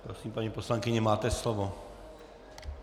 Prosím, paní poslankyně, máte slovo.